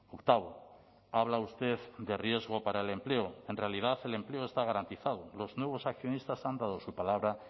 octavo habla usted de riesgo para el empleo en realidad el empleo está garantizado los nuevos accionistas han dado su palabra